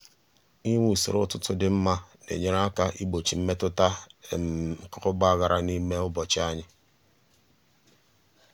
inwe usoro ụtụtụ dị mma na-enyere aka igbochi mmetụta nke ọgba aghara n'ime ụbọchị ahụ.